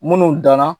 Minnu danna